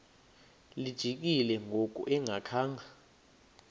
lijikile ngoku engakhanga